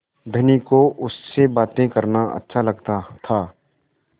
धनी को उससे बातें करना अच्छा लगता था